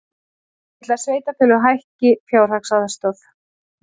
Vill að sveitarfélög hækki fjárhagsaðstoð